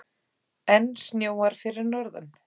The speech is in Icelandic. Enn snjóar fyrir norðan